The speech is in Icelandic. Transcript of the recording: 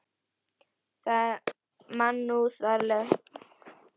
Það er mannúðlegra að deyða þá.